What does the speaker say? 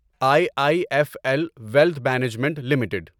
I I F L wealth management limited